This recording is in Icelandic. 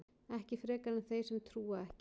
Ekki frekar en þeir sem trúa ekki.